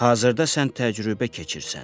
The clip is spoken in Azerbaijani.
Hazırda sən təcrübə keçirsən.